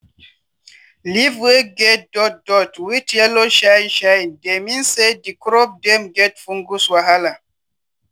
leave wey get dot dot wit yellow shine shine dey mean say di crop dem get fungus wahala.